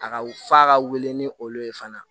A ka w f'a ka wele ni olu ye fana